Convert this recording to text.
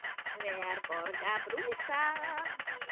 Hver borgar brúsann?